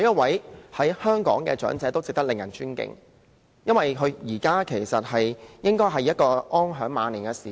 在香港，每一位長者都值得尊敬，現在應該是他們安享晚年的時間。